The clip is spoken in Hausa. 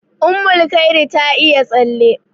Ummulkhairi ta iya tsalle.